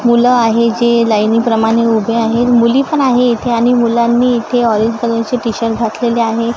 मुलं आहे जे लाईनीप्रमाणे उभे आहे मुली पण आहे इथे आणि मुलांनी इथे ऑरेंज कलरची टी_शर्ट घातलेले आहे.